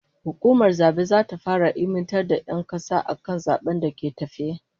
Hukumar zabe zata fara ilmantar da 'yan kasa akan zaben da ke tafe